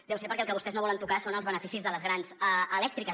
deu ser perquè el que vostès no volen tocar són els beneficis de les grans elèctriques